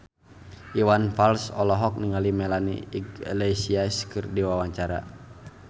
Iwan Fals olohok ningali Melanie Iglesias keur diwawancara